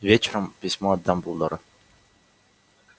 вечером письмо от дамблдора